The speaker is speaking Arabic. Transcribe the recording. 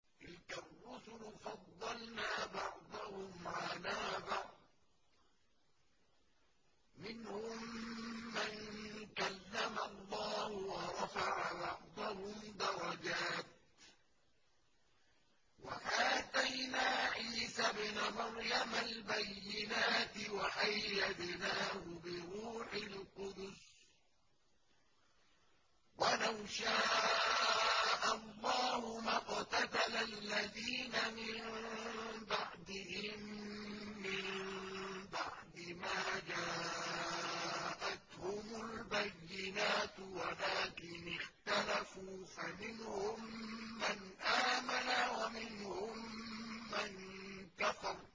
۞ تِلْكَ الرُّسُلُ فَضَّلْنَا بَعْضَهُمْ عَلَىٰ بَعْضٍ ۘ مِّنْهُم مَّن كَلَّمَ اللَّهُ ۖ وَرَفَعَ بَعْضَهُمْ دَرَجَاتٍ ۚ وَآتَيْنَا عِيسَى ابْنَ مَرْيَمَ الْبَيِّنَاتِ وَأَيَّدْنَاهُ بِرُوحِ الْقُدُسِ ۗ وَلَوْ شَاءَ اللَّهُ مَا اقْتَتَلَ الَّذِينَ مِن بَعْدِهِم مِّن بَعْدِ مَا جَاءَتْهُمُ الْبَيِّنَاتُ وَلَٰكِنِ اخْتَلَفُوا فَمِنْهُم مَّنْ آمَنَ وَمِنْهُم مَّن كَفَرَ ۚ